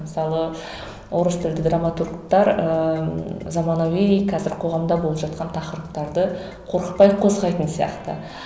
мысалы орыс тілді драматургтер ыыы заманауи қазір қоғамда болып жатқан тақырыптарды қорықпай қозғайтын сияқты